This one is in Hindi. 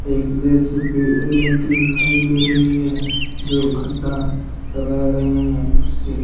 एक जे_सी_बी एल_एन_टी दिखाई दे रही है जो खड्डा करा रहे हैं उसे--